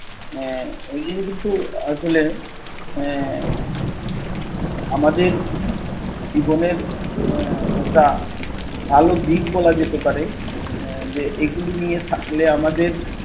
আহ এগুলো কিন্তু আসলে আহ আমাদের জীবনের আহ একটা ভালো দিক বলা যেতে পারে। যে এগুলো নিয়ে থাকলে আমাদের